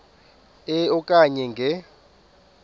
e okanye nge